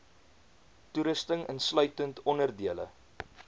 toerusting insluitend onderdele